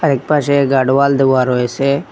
একপাশে গাডোয়াল দেওয়া রয়েসে।